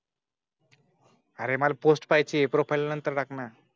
अरे मला पोस्ट पाहिजे प्रोफाइल नंतर टाकणार.